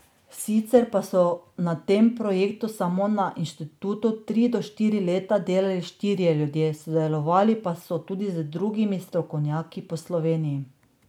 Sicer pa so na tem projektu samo na inštitutu tri do štiri leta delali štirje ljudje, sodelovali pa so tudi z drugimi strokovnjaki po Sloveniji.